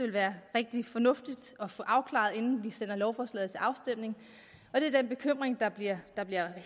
være rigtig fornuftigt at få afklaret inden vi sender lovforslaget til afstemning det er den bekymring der bliver